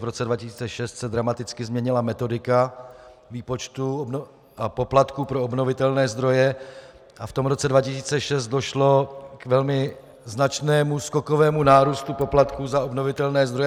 V roce 2006 se dramaticky změnila metodika výpočtu a poplatku pro obnovitelné zdroje a v tom roce 2006 došlo k velmi značnému skokovému nárůstu poplatků za obnovitelné zdroje.